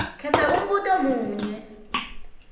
khetsa umbuto munye